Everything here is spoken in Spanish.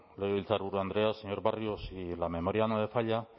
legebiltzarburu andrea señor barrio si la memoria no me falla